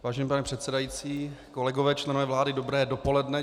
Vážený pane předsedající, kolegové, členové vlády, dobré dopoledne.